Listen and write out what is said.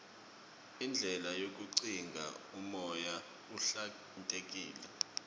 indlela yokugcina umoya uhlantekile